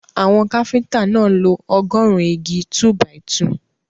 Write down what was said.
Àwọn káfíńtà náà lo ọgọ́ọ̀rún igi 2-by-2.